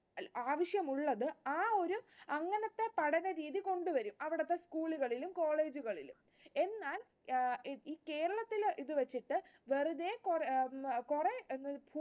ആവശ്യമുള്ളത് ആ ഒരു അങ്ങനത്തെ പഠന രീതി കൊണ്ടുവരും അവിടത്തെ school കളിലും college കളിലും എന്നാൽ കേരളത്തിലെ അഹ് ഇത്‌ വച്ചിട്ട് വെറുതെ കുറെ അഹ് കുറെ